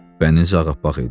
Bənizi ağappaq idi.